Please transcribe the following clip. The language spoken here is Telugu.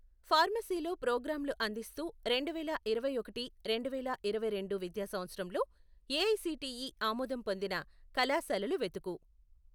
ఫార్మసీలో ప్రోగ్రాంలు అందిస్తు రెండు వేల ఇరవై ఒకటి రెండు వేల ఇరవై రెండు విద్యా సంవత్సరంలో ఏఐసిటీఈ ఆమోదం పొందిన కళాశాలలు వెతుకు